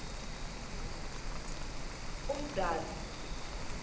umdali